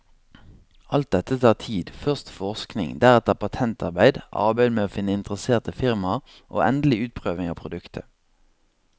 Alt dette tar tid, først forskning, deretter patentarbeid, arbeid med å finne interesserte firmaer og endelig utprøving av produktet.